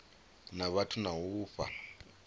na vhathu na u fha